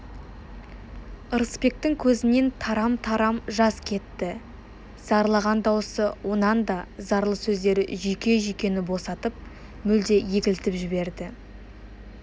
ырысбектің көзінен тарам-тарам жас кетті зарлаған даусы онан да зарлы сөздері жүйке-жүйкені босатып мүлде егілтіп жіберді